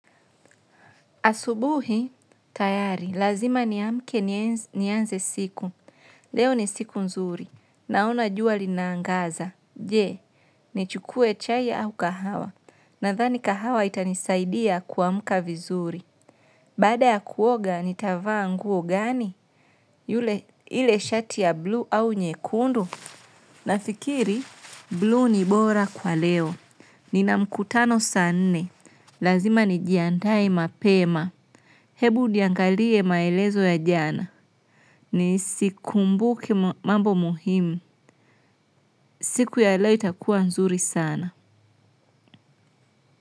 Asubuhi, tayari, lazima niamke nianze siku. Leo ni siku nzuri. Naona jua linaangaza. Je, nichukue chai au kahawa? Nadhani kahawa itanisaidia kuamka vizuri. Baada ya kuoga, nitavaa nguo gani? Yule, ile shati ya buluu au nyekundu? Nafikiri, buluu ni bora kwa leo. Nina mkutano saa nne. Lazima nijiandaemapema. Hebu niangalie maelezo ya jana. Ni sikumbuki mambo muhimu. Siku ya leo itakuwa nzuri sana.